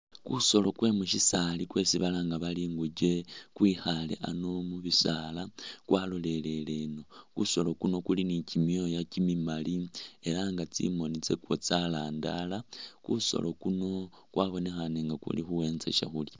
Kusoolo kwe mushisaali kwesi balanga bari inguche kwekhale ano mu'bisaala kwaloleleleno, kusoolo kuno kuli ni kyimyoya kyimimaali elah nga tsimoni tsakwo tsarandara kusoolo kuno kwabonekhane nga kulikhuwenza shakhulya